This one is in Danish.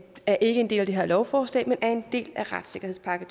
er ikke en del af det her lovforslag men er en del af retssikkerhedspakke